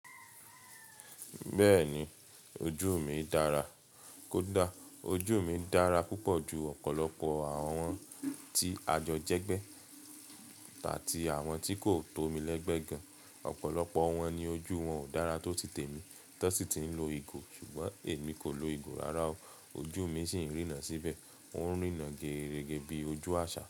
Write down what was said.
Bẹ́ẹ̀ni, ojú mi dára kódà ojú mi dára púpọ̀ ju ọ̀pọ̀lọpọ̀ àwọn tí àjọ jẹ́gbẹ́ àti àwọn tí kò tó mi lẹ́gbẹ́ gan. Ọ̀pọ̀lọpọ̀ wọn ni ojú wọn ò dára tó ti tèmi, tọ sí ti ń lo ìgò, ṣùgbọ́n èmi kò lo ìgò rara o. Ojú mi sì ń rína síbẹ̀, ó ń rína gerige bi ojú àṣà.